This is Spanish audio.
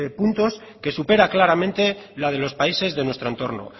puntos que supera claramente la de los países de nuestro entorno